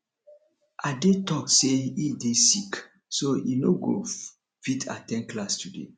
ade talk say he dey sick so he no go fit at ten d class today